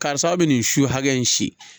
Karisa aw bɛ nin su hakɛ in si